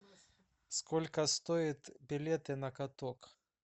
сколько стоят билеты на каток